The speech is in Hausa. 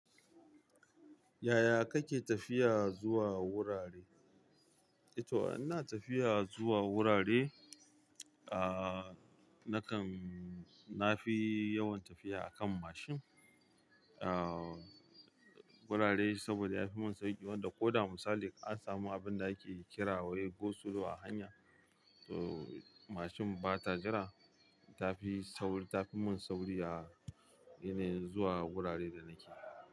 Yaya kake tafiya zuwa wurare e to ina tafiya zuwa wurare ah na kan, na fi yawan tafiya a kan mashin. Ah wurare saboda ya fi mun sauƙi wanda ko da misali ka samu abinda kake kira wai go slow a hanya, to mashin bata jira. Tafi saur-- tafi mun sauri a yanayin zuwa wurare da nake.